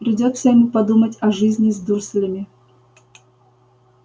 придётся ему подумать о жизни с дурслями